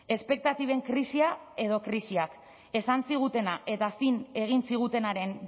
espektatiben krisia edo krisiak esan zigutena eta zin egin zigutenaren